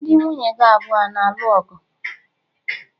Ndi nwunye gi abụọ a na-alụ ọgụ?